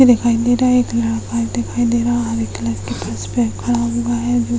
दिखाई दे रहा है। एक लड़का दिखाई दे रहा है। हरे कलर के फर्श पे खड़ा हुआ है जो --